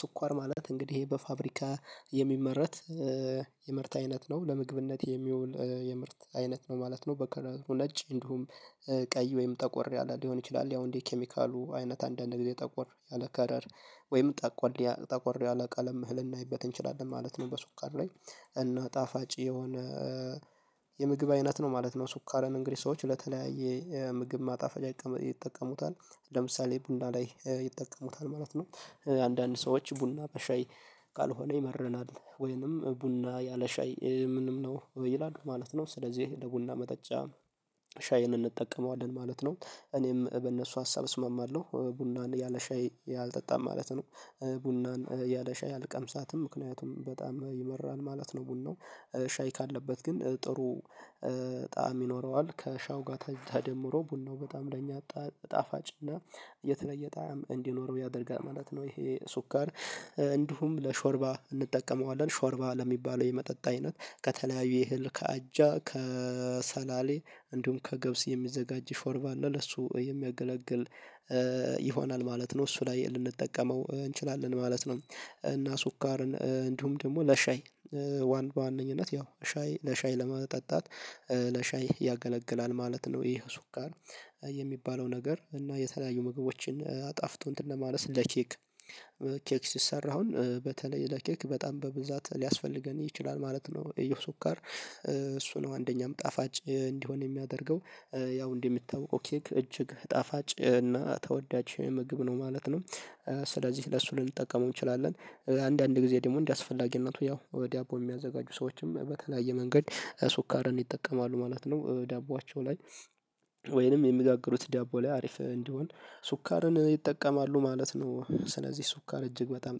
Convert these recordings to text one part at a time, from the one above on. ስኳር ማለት እንግዲህ ይሄ በፋብሪካ የሚመረት የምርት አይነት ነው ለምግብነት የሚውል የምርት አይነት ነው ማለት ነው። በቀላሉ ነጭ እንዲሁም ቀይ ወይም ጠቆር ያለ ሊሆን ይችላል። ያው እንዴ ኬሚካሉ አይነት አንዳንድ ጊዜ ጠቆር ያለ ከረር ወይም ጠቆር ጠቆር ያለ ቀለም ልናይበት እንችላለን ማለት ነው። በስኳር ላይ እነ ጣፋጭ የሆነ የምግብ አይነት ነው ማለት ነው። ስኳርን እንግዲህ ሰዎች ለተለያየ ምግብ ማጣፈጫ ይጠቀሙታል ለምሳሌ ቡና ላይ ይጠቀሙታል ማለት ነው። አንዳንድ ሰዎች ቡና በሻይ ካልሆነ ይመረናል ወይንም ቡና ያለ ሻይ ምንም ነው ይላል ማለት ነው። ስለዚህ ለቡና መጠጫ ሻይን እንጠቀመዋለን ማለት ነው። እኔም በእነሱ ሀሳብ እስማማለሁ ቡናን ያለ ሻይ ያልጠጣም ማለት ነው። ቡናን ያለ ሻይ አልቀምሳትም ምክንያቱም በጣም ይመራል ማለት ነው። ቡናው ሻይ ካለበት ግን ጥሩ ጣዕም ይኖረዋል ከሻው ጋር ተደምሮ ቡናው በጣም ለኛ ጣፋጭ እና የተለየ ጣዕም እንዲኖረው ያደርጋል ማለት ነው። ይሄ ስኳር እንዲሁም ለሾርባ እንጠቀመዋለን ሾርባ ለሚባለው የመጠጥ አይነት ከተለያዩ ይህል ከአጃ ከሰላሌ እንዲሁም ከገብስ የሚዘጋጅ ሾርባ ነው ለሱ የሚያገለግል ይሆናል ማለት ነው። እሱ ላይ ልንጠቀመው እንችላለን ማለት ነው። እና ስኳርን እንዲሁም ደግሞ ለሻይ ዋን በዋነኝነት ያው ሻይ ለሻይ ለመጠጣት ለሻይ ያገለግላል ማለት ነው። ይሄ ስኳር ጋር የሚባለው ነገር እና የተለያዩ ምግቦችን አጣፍጦ እንትን ለማለት ለኬክ ኬክ ሲሰራ በተለይ ለኬክ በጣም በብዛት ሊያስፈልገን ይችላል ማለት ነው። የስኳርር እሱ ነው አንደኛም ጣፋጭ እንዲሆን የሚያደርገው ያው እንደሚታወቀው እጅግ ጣፋጭ እና ተወዳጅ ምግብ ነው ማለት ነው። ስለዚህ ለሱ ልንጠቀመው እንችላለን አንዳንድ ጊዜ ደግሞ እንደዚህ አስፈላጊነቱ ያው ዳቦ የሚያዘጋጁ ሰዎችም በተለያየ መንገድ ሱካርን ይጠቀማሉ ማለት ነው። ዳቦአቸው ላይ ወይንም የሚጋግሩት ዳቦ ላይ አሪፍ እንዲሆን ሱካርን ይጠቀማሉ ማለት ነው። ስለዚህ ሱካር እጅግ በጣም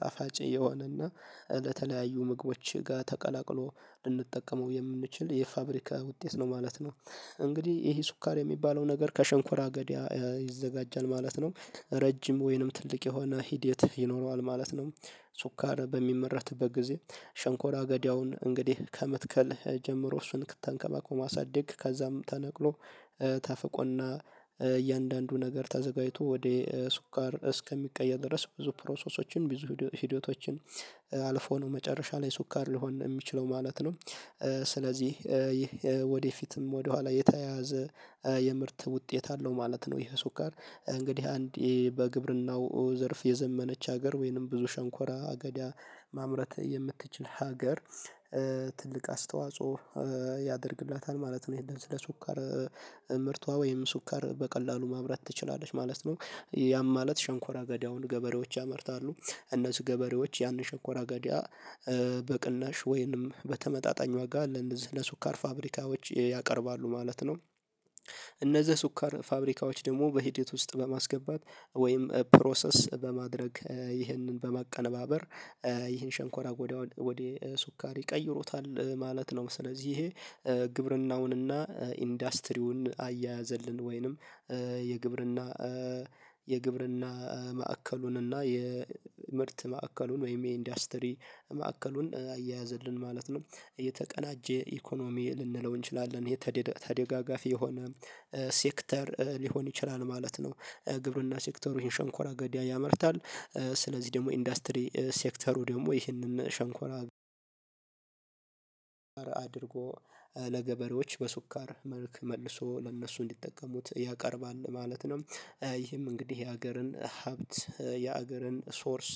ጣፋጭ የሆነና ለተለያዩ ምግቦች ጋር ተቀላቅሎ ልንጠቀመው የምንችል የፋብሪካ ውጤት ነው ማለት ነው። እንግዲህ ይሄ ስኳር የሚባለው ነገር ከሸንኮራ አገዳ ይዘጋጃል ማለት ነው። ረጅም ወይንም ትልቅ የሆነ ሂድ የት ይኖረዋል ማለት ነው። ስኳር በሚመረትበት ጊዜ ሸንኮራ አገዳውን እንግዲህ ከመትከል ጀምሮ እሱን ተንከባከቦ ማሳደግ ከዛም ተነቅሎ ተፍቆና እያንዳንዱ ነገር ተዘጋጅቶ ወደ ስኳር እስከሚቀየር ድረስ ብዙ ፕሮሰሶችን ብዙ ህይወቶችን አልፎ ነው መጨረሻ ላይ ስኳር ሊሆን የሚችለው ማለት ነው። ስለዚህ ይህ ወደፊትም ወደኋላ የተያያዘ የምርት ውጤት አለው ማለት ነው። ይሄ ስኳር እንግዲህ አንድ በግብርናው ዘርፍ የዘመነች ሀገር ወይንም ብዙ ሸንኮራ አገዳ ማምረት የምትችል ሀገር ትልቅ አስተዋጽኦ ያደርግላታል ማለት ነው። ይሄንን ስለ ስኳር ምርቷ ወይም ስኳር በቀላሉ ማብላት ትችላለች ማለት ነው። ያም ማለት ሸንኮራ ገዳውን ገበሬዎች ያመርታሉ እነሱ ገበሬዎች ያንን ሸኮራ አገዳ በቅናሽ ወይንም በተመጣጣኝ ዋጋ ለአኳር ፋብሪካዎች ያቀርባሉ ማለት ነው። እነዚህ ሱካር ፋብሪካዎች ደግሞ በሂደት ውስጥ በማስገባት ወይም ፕሮሰስ በማድረግ ይህንን በማቀነባበር ይህን ሸንኮራ ወደ ስኳሪ ይቀይሮታል ማለት ነው። ስለዚህ ይሄ ግብርናውንና ኢንዱስትሪውን አያያዘልን ወይንም የግብርና የግብርና ማዕከሉንና የምርት ማዕከሉን ወይም የኢንዱስትሪ ማዕከሉን አያያዘልን ማለት ነው። የተቀናጀ ኢኮኖሚ ልንለው እንችላለን ይሄ ተደጋጋፊ የሆነ ሴክተር ሊሆን ይችላል ማለት ነው። ግብርና ሴክተሩ ይሄን ሸንኮራ አገድ ያመርታል። ስለዚህ ደግሞ ኢንዱስትሪ ሴክተሩ ደግሞ ይሄንን ሸንኮራ አድርጎ ለገበሬዎች በሱካር መልክ መልሶ ለእነሱ እንዲጠቀሙት ያቀርባል ማለት ነው። ይህም እንግዲህ የሀገርን ሀብት የሀገርን ሶርስ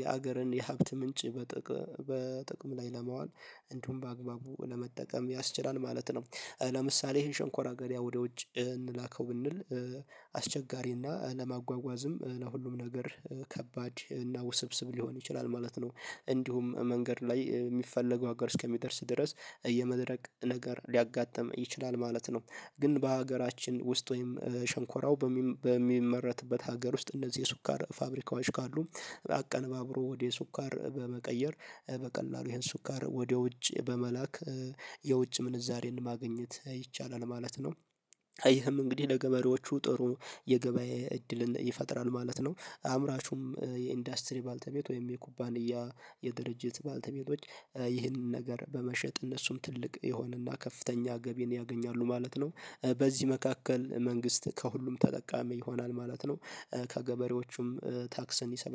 የሀገርን የሀብት ምንጭ በጥቅም ላይ ለማዋል እንዲሁም በአግባቡ ለመጠቀም ያስችላል ማለት ነው። ለምሳሌ ይሄን ሸንኮራ አገዳ ወደ ውጭ እንላከው ብንል አስቸጋሪና ለማጓጓዝም ለሁሉም ነገር ከባድ እና ውስብስብ ሊሆን ይችላል ማለት ነው። እንዲሁም መንገድ ላይ የሚፈለገው ሀገር እስከሚደርስ ድረስ የመድረክ ነገር ሊያጋጥም ይችላል ማለት ነው። ግን በሀገራችን ውስጥ ወይም ሸንኮራው በሚመረትበት ሀገር ውስጥ እንደዚህ የስኳር ፋብሪካዎች ካሉ አቀነባብሮ ወደ ሱካር በመቀየር በቀላሉ ይሄን ስኳር ወደ ውጭ በመላክ የውጭ ምንዛሬን ማግኘት ይቻላል ማለት ነው። ይህም እንግዲህ ለገመሪዎቹ ጥሩ የገበያ እድልን ይፈጥራል ማለት ነው። አምራቹም የኢንዱስትሪ ባልተሜት ወይም የኩባንያ የድርጅት ባልተሜቶች ይህንን ነገር በመሸጥ እነሱም ትልቅ የሆነና ከፍተኛ ገቢን ያገኛሉ ማለት ነው። በዚህ መካከል መንግስት ከሁሉም ተጠቃሚ ይሆናል ማለት ነው። ከገበሬዎቹም ታክስን ይሰበስባል